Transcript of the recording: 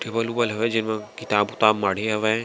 Table उबल हेबय जेमा किताब उताब माढ़े हवय।